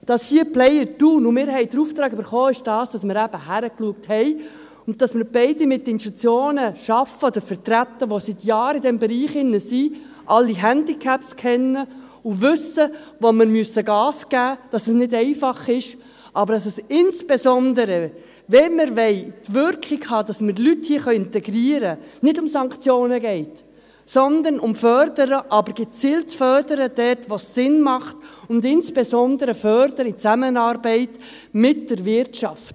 Dass hier der Player Thun … Und wir haben den Auftrag erhalten, und der ist, dass wir eben hingeschaut haben, dass wir beide mit Institutionen arbeiten oder vertreten, die seit Jahren in diesem Bereich tätig sind, alle Handicaps kennen und wissen, wo wir Gas geben müssen, dass es nicht einfach ist, aber dass es insbesondere, wenn wir die Wirkung haben wollen, um Leute hier integrieren zu können, nicht um Sanktionen geht, sondern um ein Fördern, aber ein gezieltes Fördern, dort wo es Sinn macht, und insbesondere um ein Fördern in Zusammenarbeit mit der Wirtschaft.